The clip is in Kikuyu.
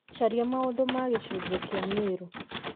caria maũndũ ma gĩcunjĩ kĩa mĩrũ